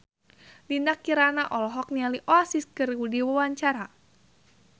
Dinda Kirana olohok ningali Oasis keur diwawancara